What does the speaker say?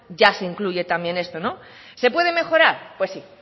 ya se incluye también esto se puede mejorar pues sí